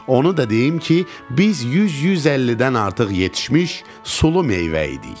Onu da deyim ki, biz 100-150-dən artıq yetişmiş sulu meyvə idik.